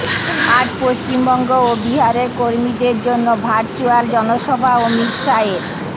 আজ পশ্চিমবঙ্গ ও বিহারের কর্মীদের জন্য ভার্চুয়াল জনসভা অমিত শাহের